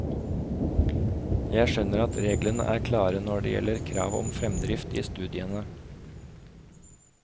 Jeg skjønner at reglene er klare når det gjelder krav om fremdrift i studiene.